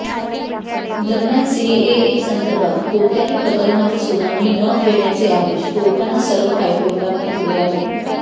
दरम्यान सीएएसंदर्भात कोणत्याही प्रकरणांवर सुनावणी न घेण्याचे आदेश कोर्टानं सर्व हायकोर्टांना दिले आहेत